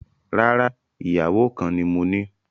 Rárá, ìyàwó kan ni moní